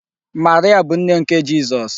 Maria bụ nne nke Jizọs.